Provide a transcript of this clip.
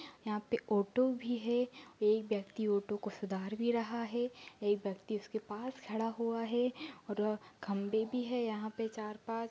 यहाँ पे ऑटो भी है एक व्यक्ति ऑटो को सुधार भी रहा है एक व्यक्ति उसके पास खड़ा हुआ है और अ खंबे भी है यहाँ पे चार-पाँच --